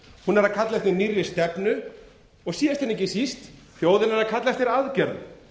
hún er að kalla eftir nýrri stefnu og síðast en ekki síst þjóðin er að kalla eftir aðgerðum